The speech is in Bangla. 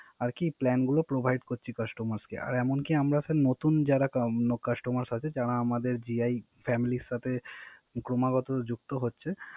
আর কি Plane গুলো Provide করছি Customer কে। আর এমন কি আমরা স্যার, নতুন যারা Customer আছে, যারা আমাদের জিআই Family এর সাথে ক্রমাগত যুক্ত হচ্ছে।